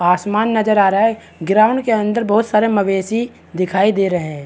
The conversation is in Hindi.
आसमान नजर आ रहा है ग्राउंड के अंदर बहुत सारे मवेशी दिखाई दे रहै है।